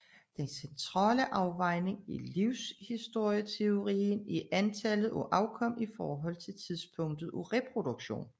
Den centrale afvejning i livshistorieteorien er antallet af afkom i forhold til tidspunktet af reproduktion